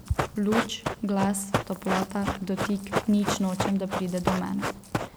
Luč, glas, toplota, dotik, nič nočem, da pride do mene.